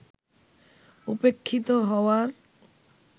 উপেক্ষিত হওয়ার